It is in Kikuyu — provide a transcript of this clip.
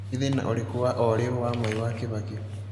nĩ thĩna ũrĩkũ wa o rĩũ wa mwai wa kibaki